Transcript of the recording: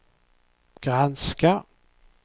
granska